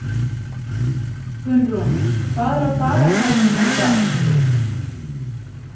Gunnrún, hvað er á dagatalinu mínu í dag?